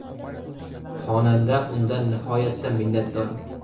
Xonanda undan nihoyatda minnatdor.